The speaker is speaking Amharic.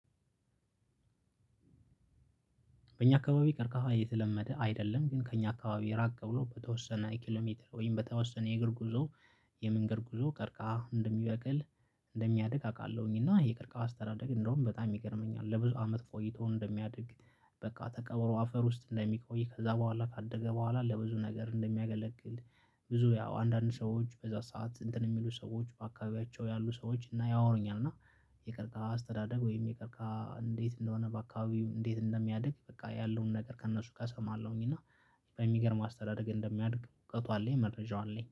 በእኛ አካባቢ ቀርቃሃ የተለመደ አይደለም ግን ከእኛ አካባቢ ራቅ ብሎ በተወሰነ ኪሎሜትር ወይም በተወሰነ የእግር ጉዞ። የመንገድ ጉዞ ቀርቃሃ እንደሚበቅል እንደሚያድግ አውቃለሁኝና የቅርቃሀው አስተዳደግ እንደውም በጣም ይገርመኛል። ለብዙ አመት ቆይቶ እንደሚያድግ። በቃ ተቀብሮ አፈር ውስጥ እንደሚቆይ ከዛ በኋላ ካደገ በኋላ ለብዙ ነገር እንደሚያገለግል። ብዙ ያው አንዳንድ ሰዎች በዛ ሰዓት እንትን የሚሉ ሰዎች በአካባቢያቸው ያሉ ሰዎች እና ያወሩኛል። እና የቀርቃሀ አስተዳደግ ወይም የቀርቃሀ እንዴት እንደሆነ በአካባቢው እንዴት እንደሚያድግ በቃ ያለውን ነገር ከእነሱ ጋር እሰማለሁኝ። እና በሚገርም አስተዳደግ እንደሚያድግ እውቀቱ አለኝ መረጃው አለኝ